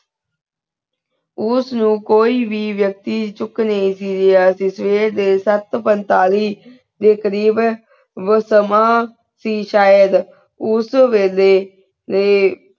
ਉਸ ਨੂ ਕੋਈ ਵੀ ਚੂਕ ਲਿਯਾ ਸੇ ਅਸੀਂ ਸਵੈਰ ਦੇ ਸਾਤ ਪੰਤਾਲੀ ਦੇ ਕ਼ਰੀਬ ਵੋ ਸਮਾਂ ਸੇ ਸ਼ਾਹਿਦ ਉਸ ਵਾਲੀ ਆਯ